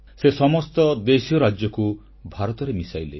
ସେ ସମସ୍ତ ଦେଶୀୟ ରାଜ୍ୟକୁ ଭାରତରେ ମିଶାଇଲେ